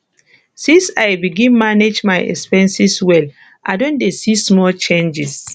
since i begin manage my expenses well i don dey see small changes